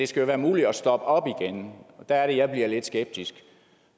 skal være muligt at stoppe op igen og der er det jeg bliver lidt skeptisk